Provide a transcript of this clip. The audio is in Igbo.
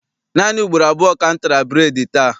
Naanị ugboro abụọ ka m tara bureedi taa.